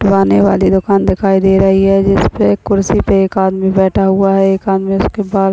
वाने वाली दुकान दिखाई दे रही है जिसपे एक कुर्सी पे एक आदमी बैठा हुआ है। एक आदमी उसके बाल --